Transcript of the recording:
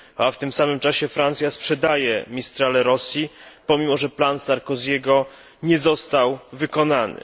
W tym samym czasie Francja sprzedaje Mistrale Rosji pomimo, że plan Sarkozy'ego nie został wykonany.